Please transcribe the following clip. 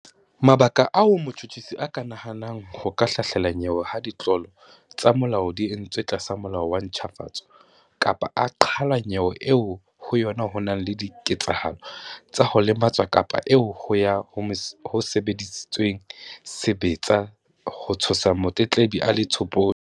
Mabaka ao motjhutjhisi a ka hanang ho ka hlahlela nyewe ha ditlolo tsa molao di entswe tlasa Molao wa ntjhafatso kapa a qhala nyewe eo ho yona ho nang le dike-tsahalo tsa ho lematswa kapa eo ho yona ho sebedisitsweng sebetsa ho tshosa motletlebi a le tshopodi.